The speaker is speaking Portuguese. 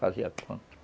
Fazia quanto?